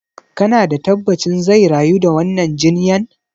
Kana da tabbacin zai rayu da wannan jinyan?